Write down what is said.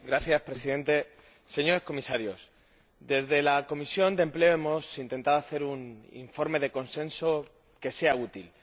Señor Presidente, señores Comisarios, desde la Comisión de Empleo hemos intentado hacer un informe de consenso que sea útil.